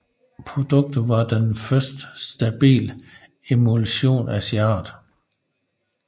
Produktet var den første stabile emulsion af sin art